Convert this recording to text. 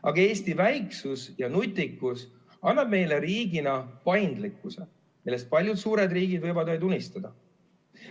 Aga Eesti väiksus ja nutikus annab meile riigina paindlikkuse, millest paljud suured riigid võivad vaid unistada.